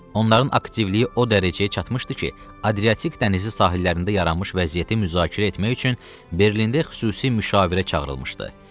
Onların aktivliyi o dərəcəyə çatmışdı ki, Adriatik dənizi sahillərində yaranmış vəziyyəti müzakirə etmək üçün Berlində xüsusi müşavirə çağırılmışdı.